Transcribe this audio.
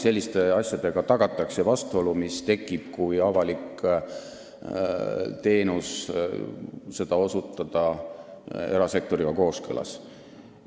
Selliste asjadega tagatakse, et avalikku teenust osutatakse erasektoriga kooskõlas.